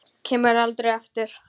Kemur aldrei aftur.